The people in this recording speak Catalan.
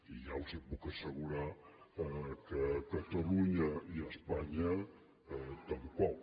i ja els puc asse·gurar que catalunya i espanya tampoc